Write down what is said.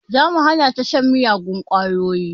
Za mu hana ta shan miyagun ƙwayoyi